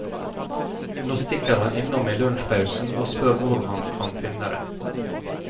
Nå stikker han innom i lunsjpausen og spør hvor han kan finne det.